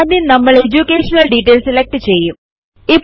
ആദ്യം നമ്മൾ education details എന്ന വാക്ക് സെലക്ട് ചെയ്യും